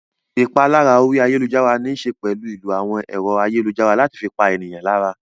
Ìpalára orí ayálujára níṣe pẹ̀lú ìlò àwọn ẹ̀rọ ayélujára láti fi pa ènìyàn lára.